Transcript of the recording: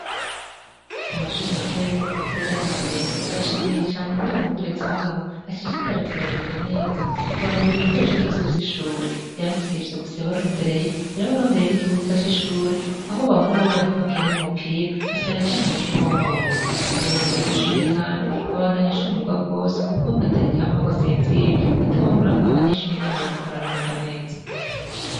Ku mashure matoya yo muri Mukorera ya mbere, barashimiye cane ingene umurezi wabo ashishikara kubagirira neza, kukubaronderera ibikoresho vyose vy'ishure. Sivyo gusa yabarondereye, yarabarondereye n'ikibuga c'ishure aho bahora babura aha bakinira umupira, na cane cane c'umupira w'amaboko. Umuyobozi w'iryo Shure Kandi abandanya ashimirwa gose kuko ataryama ngw'asinzire atabobona abanyeshure ingene bariko baramererwa neza.